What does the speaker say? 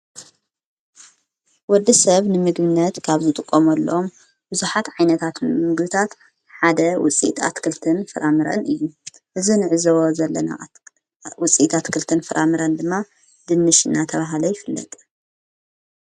ወዲ ሰብ ንምግብነት ካብ ዘጥቆሙ ኣሎም ብዙኃት ዓይነታት ምግብታት ሓደ ውፂኢት ኣትክልትን ፍራምርን እዩ እዝ ንዕዝዎ ዘለና ውፅኢት ኣትክልትን ፍራምረን ድማ ድንሽና ተብሃሉ ይፍለጥ ::